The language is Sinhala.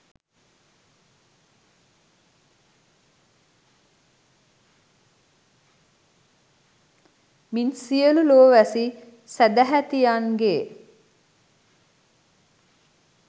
මින් සියලු ලෝවැසි සැදැහැතියන්ගේ